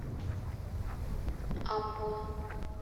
амбон